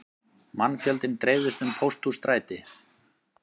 Mannfjöldinn dreifðist um Pósthússtræti